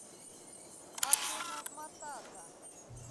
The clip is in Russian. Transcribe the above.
акуна матата